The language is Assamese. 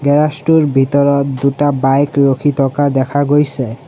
গেৰেজ টোৰ ভিতৰত দুটা বাইক ৰখি থকা দেখা গৈছে।